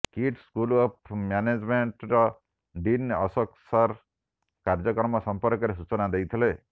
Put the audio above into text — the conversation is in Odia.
କିଟ୍ ସ୍କୁଲ ଅଫ୍ ମ୍ୟାନେଜମେ ର ଡିନ୍ ଅଶୋକ ସର କାର୍ଯ୍ୟକ୍ରମ ସଂର୍ପକରେ ସୂଚନା ଦେଇଥିଲେ